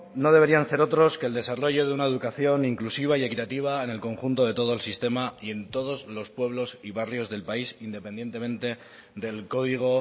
no deberían ser otros que el desarrollo de una educación inclusiva y equitativa en el conjunto de todo el sistema y en todos los pueblos y barrios del país independientemente del código